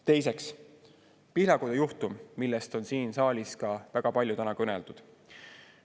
Teiseks, Pihlakodu juhtum, millest on siin saalis väga palju täna kõneldud.